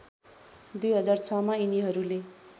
२००६ मा यिनीहरूले